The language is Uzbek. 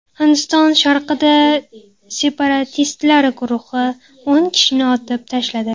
Hindiston sharqida separatistlar guruhi o‘n kishini otib tashladi.